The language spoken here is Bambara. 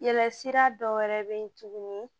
Yɛlɛ sira dɔ wɛrɛ bɛ yen tuguni